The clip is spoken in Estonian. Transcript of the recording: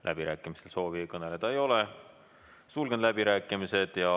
Läbirääkimiste soovi ei ole, sulgen läbirääkimised.